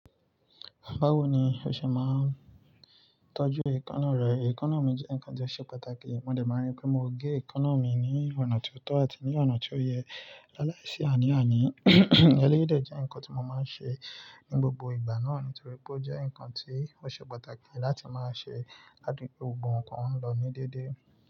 Báwo ni o ṣe máa ń tọ́jú èkóná rẹ? Èkóná mi jẹ́ nǹkan tí ó ṣe pàtàkì, mo dẹ̀ máa rí pé mo gé èkóná mi ní ọ̀nà tó tọ́ àti ní ọ̀nà tó yẹ. Láàlá ìṣi àní àní, ẹlẹ́yìí dẹ̀ jẹ́ nǹkan tí mo máa ń ṣe ní gbogbo ìgbà náà nítorí pé ó jẹ́ nǹkan tí ó ṣe pàtàkì láti máa ṣe láti pé gbogbo nǹkan lọ ní dédé.